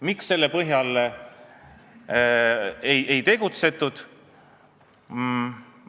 Miks selle põhjal ei tegutsetud?